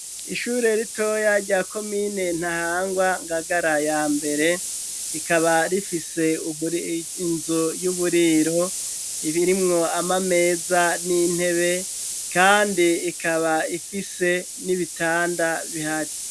Ishure ritoya rya ko mine ntahangwa ngagara ya mbere ikaba rifise ubuinzu y'uburiro ibirimwo ama meza n'intebe, kandi ikaba ifise n'ibitanda bihari.